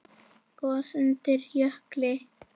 Gos undir jökli